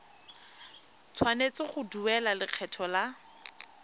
tshwanetse go duela lekgetho la